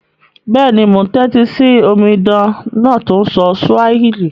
Béèni, mo n tẹ́tí si omidan náà to n sọ Swahili